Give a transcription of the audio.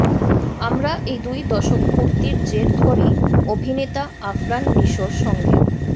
আমরা এই দুই দশকপূর্তির জের ধরেই অভিনেতা আফরান নিশোর সঙ্গে